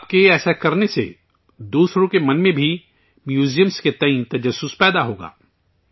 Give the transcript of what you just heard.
آپ کے ایسا کرنے سے دوسروں کے من میں بھی میوزیم کو لے کر تجسس پیدا ہوگا